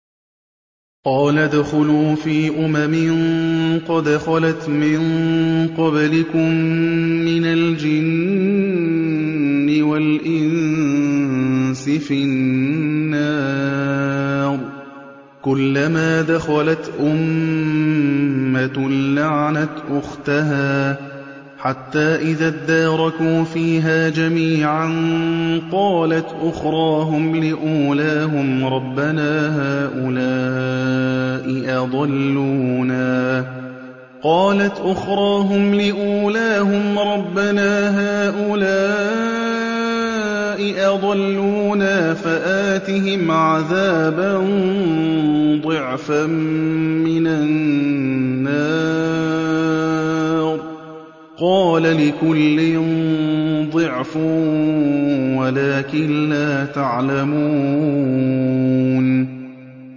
قَالَ ادْخُلُوا فِي أُمَمٍ قَدْ خَلَتْ مِن قَبْلِكُم مِّنَ الْجِنِّ وَالْإِنسِ فِي النَّارِ ۖ كُلَّمَا دَخَلَتْ أُمَّةٌ لَّعَنَتْ أُخْتَهَا ۖ حَتَّىٰ إِذَا ادَّارَكُوا فِيهَا جَمِيعًا قَالَتْ أُخْرَاهُمْ لِأُولَاهُمْ رَبَّنَا هَٰؤُلَاءِ أَضَلُّونَا فَآتِهِمْ عَذَابًا ضِعْفًا مِّنَ النَّارِ ۖ قَالَ لِكُلٍّ ضِعْفٌ وَلَٰكِن لَّا تَعْلَمُونَ